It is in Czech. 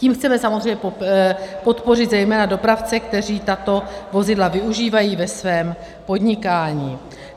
Tím chceme samozřejmě podpořit zejména dopravce, kteří tato vozidla využívají ve svém podnikání.